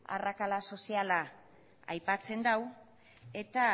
arrakala soziala aipatzen du eta